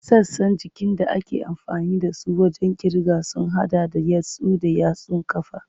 Sassan jikin da ake amfani da su wajen kirga sun hada da yatsu da yatsun ƙafa.